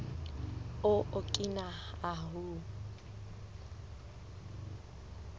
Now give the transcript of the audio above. o okina ahu